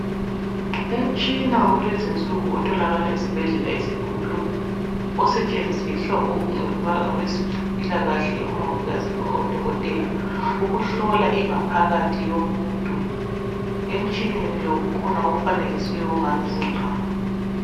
Umtshina wakulezi insuku otholakala esibhedlela esikhulu osetshenziswa ngabezempilakahle umongikazi loba udokotela ukuhlola ingaphakathi yomuntu. Emtshineni lo kukhona okufanekisiweyo okungani zimbambo.